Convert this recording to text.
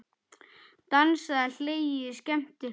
Dansað, hlegið og skemmt ykkur.